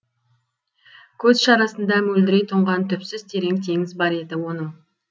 көз шарасында мөлдірей тұнған түпсіз терең теңіз бар еді оның